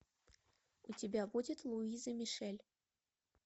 у тебя будет луиза мишель